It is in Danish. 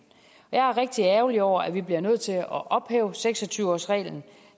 jeg er rigtig ærgerlig over at vi bliver nødt til at ophæve seks og tyve årsreglen